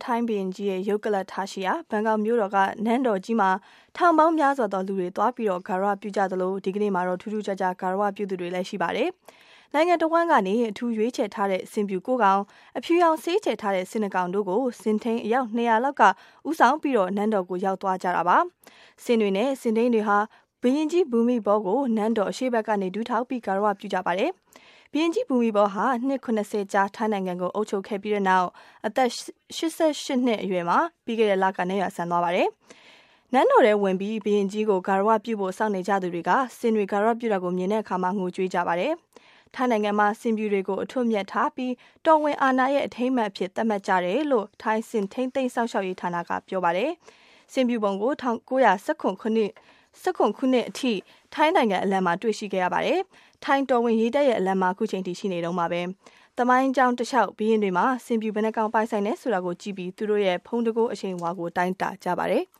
ထိုင်းဘုရင်ကြီးရဲ့ ရုပ်ကလပ်ထားရှိရာ ဘန်ကောက်မြို့တော်က နန်းတော်ကြီးမှာ ထောင်ပေါင်းများစွာသောလူတွေ သွားပြီး ဂါရဝပြုကြသလို ဒီကနေ့မှာတော့ ထူးထူးခြားခြား ဂါရဝပြုသူတွေလည်း ရှိပါတယ်။ နိုင်ငံတဝန်းကနေ အထူးရွေးချယ်ထားတဲ့ ဆင်ဖြူကိုးကောင်၊ အဖြူရောင် ဆေးခြယ်ထားတဲ့ ဆင်နှစ်ကောင်တို့ကို ဆင်ထိန်း အယောက် ၂၀၀ လောက်က ဦးဆောင်ပြီး နန်းတော်ကို ရောက်သွားကြတာပါ။ ဆင်တွေနဲ့ ဆင်ထိန်းတွေဟာ ဘုရင်ကြီး Bhumibol Adulyadej ကို နန်းတော်အရှေ့ဘက်ကနေ ဒူးထောက်ပြီး ဂါရဝပြုကြပါ တယ်။ ဘုရင်ကြီး ဘူမိဘောလ်ဟာ နှစ် ၇၀ ကြာ ထိုင်းနိုင်ငံကို အုပ်ချုပ်ခဲ့ပြီးတဲ့နောက် သက်တော် ၈၈ နှစ်အရွယ်မှာ ပြီးခဲ့တဲ့လက နတ်ရွာစံသွားတာပါ။ နန်းတော်ထဲဝင်ပြီး ဘုရင်ကြီးကိုဂါရဝပြုဖို့ စောင့်နေကြသူတွေဟာ ဆင်တွေ ဂါရဝပြုတာကို မြင်တဲ့အခါ ငိုကြွေးကြပါတယ်။ ထိုင်းနိုင်ငံမှာ ဆင်ဖြူတွေကို အထွဋ်အမြတ်ထားပြီး တော်ဝင်အာဏာရဲ့ အထိမ်းအမှတ်အဖြစ် သတ်မှတ်ကြတယ်လို့ ထိုင်း ဆင် ထိန်းသိမ်းစောင့်ရှောက်ရေးဌာနက ပြောပါတယ်။ ဆင်ဖြူပုံကို ၁၉၁၇ ခုနှစ်အထိ ထိုင်းနိုင်ငံအလံမှာ တွေ့ခဲ့ရပါတယ်။ ဒါပေမဲ့လည်း ထိုင်းတော်ဝင်ရေတပ်ရဲ့ အလံမှာ အခုချိန်ထိ ရှိနေတုန်းပါပဲ။ သမိုင်းကြောင်းတလျှောက် ဘုရင်တွေမှာ ဆင်ဖြူဘယ်နှစ်ကောင် ပိုင်ဆိုင်တယ်ဆိုတာကိုကြည့်ပြီး သူတို့ရဲ့ ဘုန်းတံခိုးအရှိန်အဝါကို တိုင်းတာကြပါတယ်။